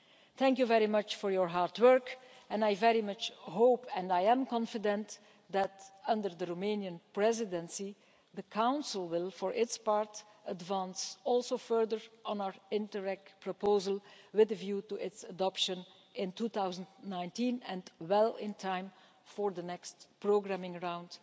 Thank you very much for your hard work and I very much hope, and am confident, that under the Romanian Presidency the Council will, for its part, advance also further on our Interreg proposal with a view to its adoption in 2019, well in time for the next programing round.